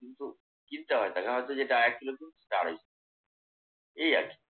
কিন্তু কিনতে হয় এটা আর এক কিলো দুধ সেটা আড়াইশো। এই আর কি